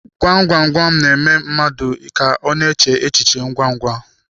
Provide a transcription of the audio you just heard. Gwam gwam gwam na-eme mmadụ ka ọ na-eche echi che ngwa ngwa.